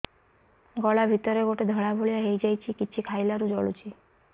ଗଳା ଭିତରେ ଗୋଟେ ଧଳା ଭଳିଆ ହେଇ ଯାଇଛି କିଛି ଖାଇଲାରୁ ଜଳୁଛି